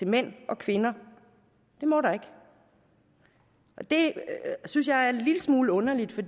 mænd og kvinder det må der ikke det synes jeg er en lille smule underligt